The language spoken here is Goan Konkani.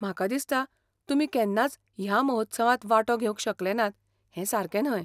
म्हाका दिसता, तुमी केन्नाच ह्या महोत्सवांत वांटो घेवंक शकले नात हें सारकें न्हय .